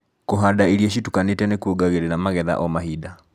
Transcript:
Kũhanda irio citukaniĩte nĩkuongagĩrira magetha o mahinda.